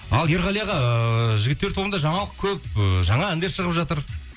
ал ерғали аға ыыы жігіттер тобында жаңалық көп ы жаңа әндер шығып жатыр